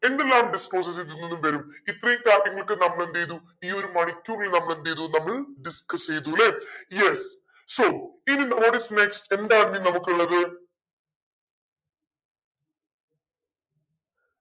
എന്തെല്ലാം disclosures ഇതിനിന്ന് വരും ഇത്രയും നമ്മളെന്തേയ്‌തു ഈ ഒരു മണിക്കൂറിൽ നമ്മളെന്തേയ്‌തു നമ്മൾ discuss ചെയ്തൂലെ yes sowhat is next എന്താണ് ഇനി നമുക്കുള്ളത്